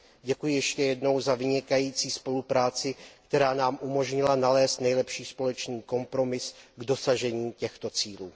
Děkuji ještě jednou za vynikající spolupráci, která nám umožnila nalézt nejlepší společný kompromis k dosažení těchto cílů.